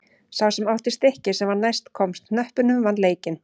Sá sem átti stikkið sem næst komst hnöppunum vann leikinn.